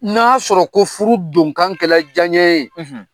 N'a sɔrɔ ko furu donkan kɛla janɲɛ ye